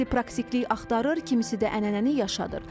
Kimisi praktiklik axtarır, kimisi də ənənəni yaşadır.